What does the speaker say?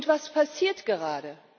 Was passiert gerade?